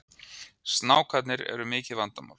Snákarnir eru mikið vandamál